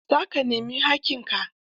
Za ka nemi haƙƙinka?